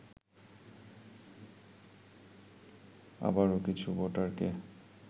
আবারও কিছু ভোটারকে